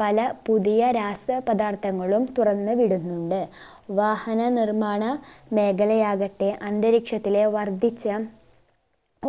പല പുതിയ രാസ പദാർത്ഥങ്ങളും തുറന്ന് വിടുന്നുണ്ട് വാഹന നിർമ്മാണ മേഖലയാകട്ടെ അന്തരീക്ഷത്തിലെ വർധിച്ച